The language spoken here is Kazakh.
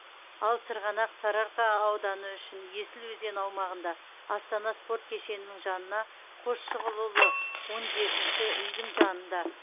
ал сырғанақ сарыарқа ауданы үшін есіл өзені аумағында астана спорт кешенінің жанына қосшығұлұлы он жетінші үйдің жанында